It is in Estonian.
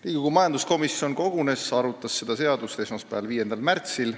Riigikogu majanduskomisjon kogunes ja arutas seda seaduseelnõu esmaspäeval, 5. märtsil.